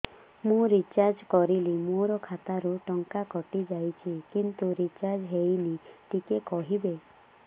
ମୁ ରିଚାର୍ଜ କରିଲି ମୋର ଖାତା ରୁ ଟଙ୍କା କଟି ଯାଇଛି କିନ୍ତୁ ରିଚାର୍ଜ ହେଇନି ଟିକେ କହିବେ